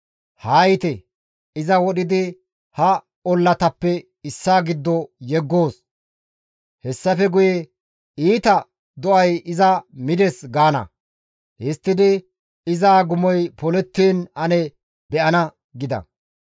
Haa yiite! Iza wodhidi ha ollatappe issaa giddo yeggoos. Hessafe guye, ‹Iita do7ay iza mides› gaana; histtidi iza agumoy polettiin ane be7ana» gida.